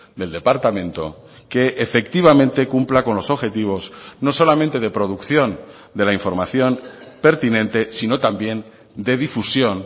del departamento que efectivamente cumpla con los objetivos no solamente de producción de la información pertinente sino también de difusión